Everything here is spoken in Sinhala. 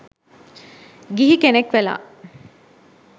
ගිහි කෙනක් වෙලා